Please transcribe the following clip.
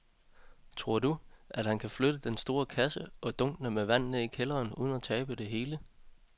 Tror du, at han kan flytte den store kasse og dunkene med vand ned i kælderen uden at tabe det hele?